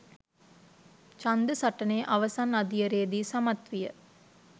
ඡන්ද සටනේ අවසන් අදියරේදී සමත් විය.